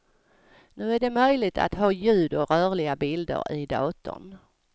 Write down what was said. Nu är det möjligt att ha ljud och rörliga bilder i datorn.